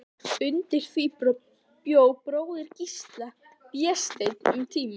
Undir því bjó bróðir Gísla, Vésteinn, um tíma.